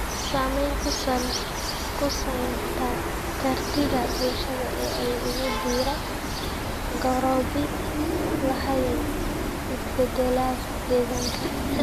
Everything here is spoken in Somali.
Saamayn ku samaynta kartida bulshada ee ay ugu diyaar garoobi lahaayeen isbedelada deegaanka.